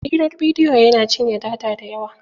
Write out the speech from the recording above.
Hirar bidiyo yana cinye data da yawa.